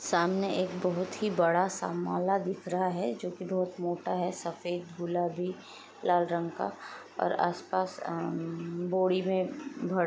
सामने एक बहुत ही बड़ा समाला दिख रहा हैं जोकी बहुत मोटा हैं सफेद झूला भी लाल रंग का और आस पास बोडि मे भर--